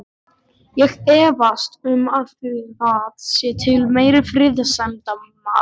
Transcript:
Ég efast um að það sé til meiri friðsemdarmaður.